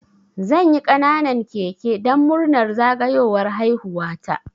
Zanyi ƙananan keke dan murnar zagayowar haihuwa ta